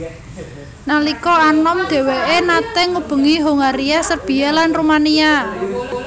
Nalika anom dhèwèké naté ngubengi Hongaria Serbia lan Rumania